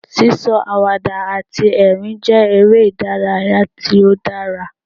Sí sọ àwàdà àti ẹ̀rín jẹ́ eré ìdárayá tí ó dára.